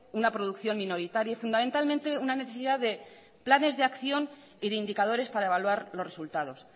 una producción minoritaria y fundamentalmente una necesidad de planes de acción y de indicadores para evaluar los resultados